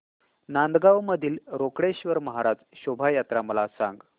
नांदगाव मधील रोकडेश्वर महाराज शोभा यात्रा मला सांग